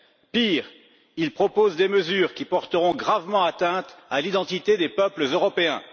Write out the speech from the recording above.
Pire, il propose des mesures qui porteront gravement atteinte à l'identité des peuples européens.